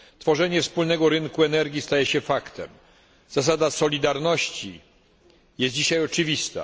Tworzenie wspólnego rynku energii staje się faktem, zasada solidarności jest dzisiaj oczywista.